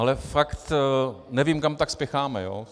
Ale fakt nevím, kam tak spěcháme.